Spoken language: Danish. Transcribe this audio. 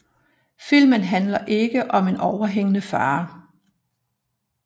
Filmen handler ikke om en overhængende fare